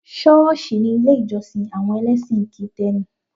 Ṣọ́ọ̀ṣì ni ilé ìjọ́sìn àwọn ẹlẹ́sìn kìtẹ́nì